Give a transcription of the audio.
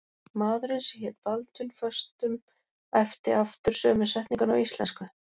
Maðurinn sem hélt Baldvin föstum æpti aftur sömu setninguna á íslensku.